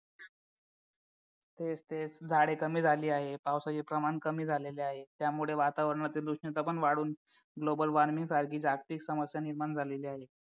तेच तेच झाडे कमी झाले आहेत पावसाचे प्रमाण कमी झालेले आहेत त्यामुळे वातावरणा तील उष्णता पण वाढवून global warming सारखे जागतिक समस्या निर्माण झालेली आहे